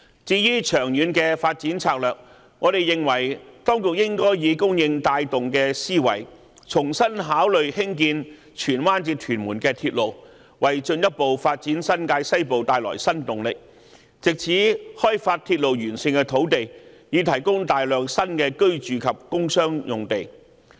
至於長遠的發展策略，我們認為當局應該以"供應帶動"的思維，重新考慮興建荃灣至屯門的鐵路，為進一步發展新界西部帶來新動力，藉此開發鐵路沿線的土地，以提供大量新的住宅及工商用地。